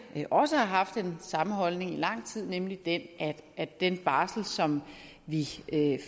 også har haft den samme holdning i lang tid nemlig den at den barsel som vi